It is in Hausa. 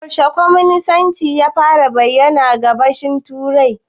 Yaushe kwaminisanci ya fara bayyana a Gabashin Turai?